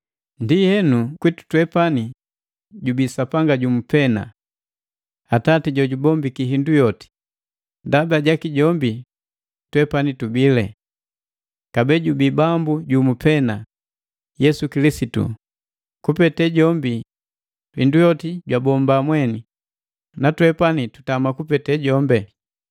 Ndienu kwitu twepani jubii Sapanga jumu pena, Atati, Jojubombiki hindu yoti, ndaba jaki twepani tubile. Kabee jubii Bambu jumu pena, Yesu Kilisitu, kupete jombi hindu yoti jabombiki na twepani tutama kupete jombi.